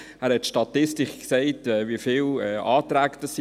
Er hat die Statistik erwähnt und wie viele Anträge vorlagen.